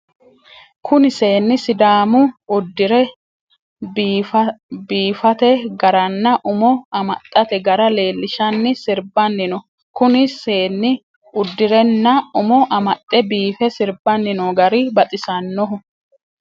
Kunni seenni sidaamu udire biifate garanna umo amaxate gara leelishanni sirbanni no. kunni seenni udirenna umo amaxe biife sirbanni noo gari baxisanoho.